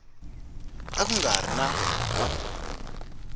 a ku nga ri na